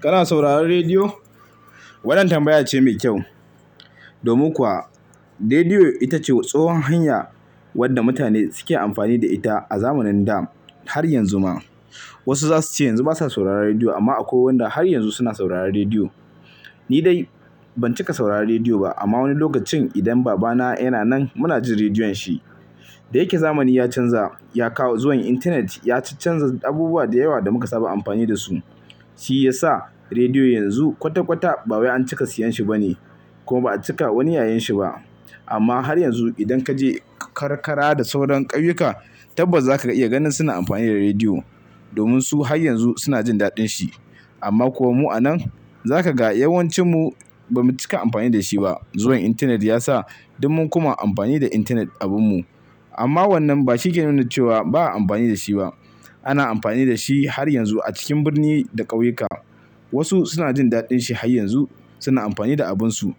Kana sauraron rediyo? Wannan tambaya ce mai kyau. Domin kuwa rediyo ita ce tsohon hanya wadda mutane suke amfani da ita a zamanin dam har yanzu ma. Wasu zasu ce yanzu basa sauraron rediyo amma akwai wanda har yanzu suna sauraron rediyo. Ni dai ban cika sauraron rediyo ba amma wani lokacin idan baba na yana nan mu na jin rediyon shi. Da yake zamani ya canza, ya kawo zuwan intanet ya canza abubuwa da yawa da muka saba amfani da su. Shi ya sa rediyo yanzu kwata kwata ba wai an cika siyan shi ba ne kuma ba'a cika wani yayen shi ba. Amma har yanzu idan kaje karkara da sauran ƙauyuka tabbas zaka iya ganin suna amfani da rediyo. Domin su har yanzu suna jin daɗin shi. Amma kuwa mu a nan, zaka ga yawancin mu bamu cika amfani da shi ba. Zuwan intanet yasa duk mun kuma amfani da intanet abin mu. Amma wannan ba shike nuna cewa ba'a amfani da shi ba. Ana amfani da shi har yanzu a cikin birni da ƙauyuka. Wasu suna jin daɗin shi har yanzu suna amfani da abin su.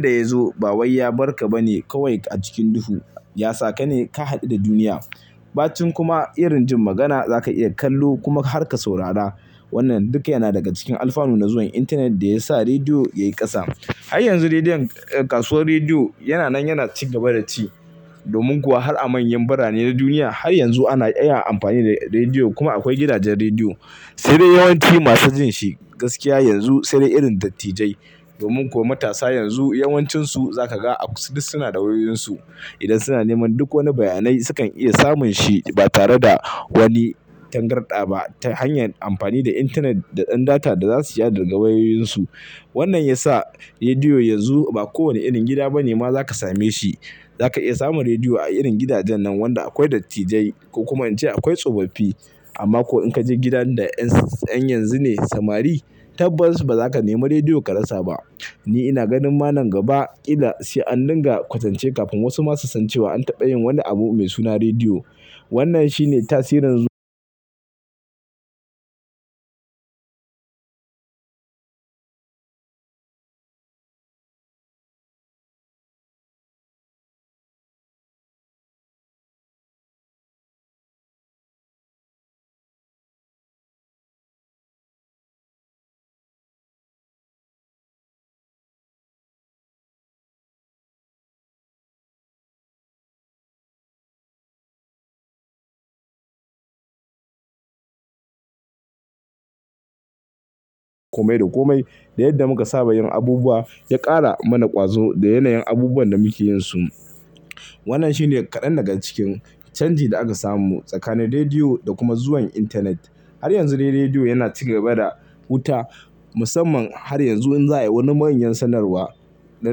Da yazo ba way ya barka ba ne kawai a cikin duhu. Ya sa ka ne ka haɗu da duniya. Ɓacin kuma irin jin magana zaka iya kallo kuma harka saurara. Wannan duk yana daga cikin alfanu na zuwan intanet da ya sa rediyo yayi ƙasa. Har yanzu rediyon, kasuwar rediyo yana nan yana ci gaba da ci. Domin kuwa har a manyan birane na duniya har yanzu ana iya amfani da rediyo kuma akwai gidajen rediyo. Sai dai yawanci masu jin shi gaskiya yanzu sai dai irin dattijai. Domin kuwa matasa yanzu yawancin su zaka ga duk suna da wayoyin su. Idan suna neman duk wani bayanai sukan iya samun shi ba tare da wani tangarɗa ba ta hanyar amfani da intanet da ɗan data da zasu iya daga wayoyin su. Wannan yasa rediyo yanzu ba kowane irin gida ba ne ma zaka same shi. Zaka iya samun rediyo a irin gidajen nan wanda akwai dattijai kuma in ce akwai tsofaffi. Amma ko in kaje gidan da ƴan yanzu ne samari tabbas ba zaka nema rediyo ka rasa ba. Ni ina ganin manan gaba kila sai an dinga kwatance kafin wasu masu sasancewa an taɓa yin wani abu mai suna rediyo. Wannan shi ne tasirin zu-- kome da kome da yadda muka saba yin abubuwa ya ƙara mana ƙwazo da yanayin abubuwan da muke yinsu. Wannan shi ne kaɗan daga cikin canji da aka samu tsakanin rediyo da kuma zuwan intanet. Har yanzu dai rediyo yana ci gaba da wuta. Musamman har yanzu in za'a yi wani manyan sanarwa, na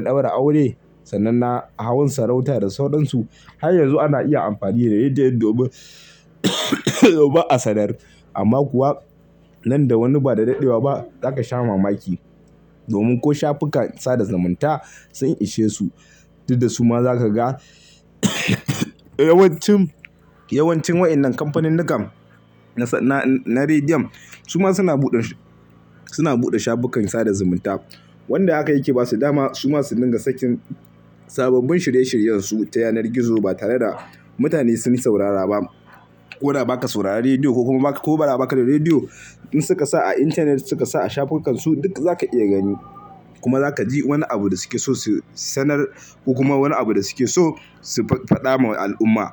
ɗaura aure, sanan na hawan sarauta da sauran su har yanzu ana iya amfani da rediyon domin domin a sanar. Amma kuwa nan da wani ba da daɗewa ba zaka sha mamaki. Domin ko shafukan sada zumunta sun ishe su. Duk da su ma zaka ga yawancin, yawancin waɗannan kamfaninnikan na rediyon su ma suna buɗe, suna buɗe shafukan sada zumunta. Wanda haka yake basu dama su ma su dinga sakin sababbin shirye shiryen su ta yanar gizo ba tare da mutane sun saurara ba. Ko da baka saurara rediyo ko kuma ko ba ra baka da rediyo, in suka sa a intanet suka sa a shafukan su duk zaka iya gani. Kuma zaka ji wani abu da su ke so su sanar ko kuma wani abu da su ke so su faffaɗa ma al'umma.